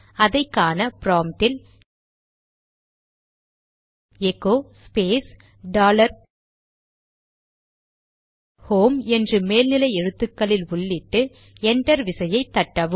அதை காண ப்ராம்ட்டில் எகோ ஸ்பேஸ் டாலர் ஹோம் என்று மேல் எழுத்துகளில் உள்ளிட்டு என்டர் விசையை தட்டவும்